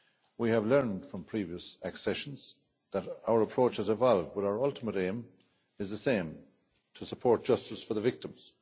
We have learned from previous accessions that our approaches evolve but our ultimate aim is the same to support justice for the victims.